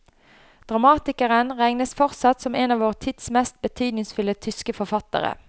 Dramatikeren regnes fortsatt som en av vår tids mest betydningsfulle tyske forfattere.